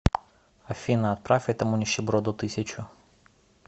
афина отправь этому нищеброду тысячу